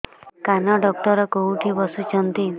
କାନ ଡକ୍ଟର କୋଉଠି ବସୁଛନ୍ତି